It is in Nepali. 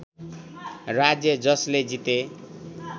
राज्य जसले जिते